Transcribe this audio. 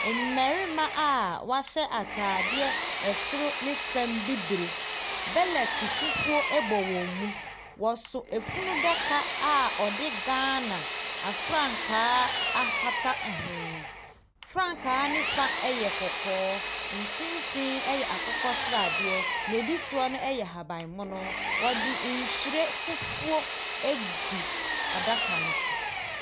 Mmarima a wɔahyɛ atadeɛ soro ne fam bibire. Bɛlɛte fufuo bɔ wɔn mu. Wɔso funu daka a wɔde Ghana frankaa akata ho. Frankaa no fa yɛ kɔkɔɔ, mfimfin yɛ akokɔsradeɛ, deɛ ɛdi soɔ no yɛ ahabammono. Wɔde nhwire fufuo agu adaka no so.